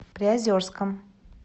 приозерском